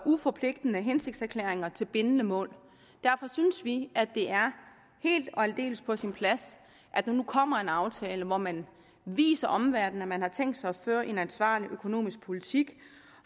uforpligtende hensigtserklæringer til nogle bindende mål derfor synes vi det er helt og aldeles på sin plads at der nu kommer en aftale hvor man viser omverdenen at man har tænkt sig at føre en ansvarlig økonomisk politik